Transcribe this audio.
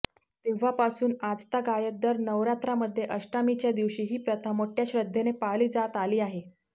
तेव्हापासून आजतागायत दर नवरात्रामध्ये अष्टमीच्या दिवशी ही प्रथा मोठ्या श्रद्धेने पाळली जात आली आहे